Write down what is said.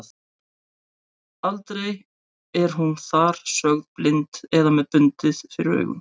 Aldrei er hún þar sögð blind eða með bundið fyrir augun.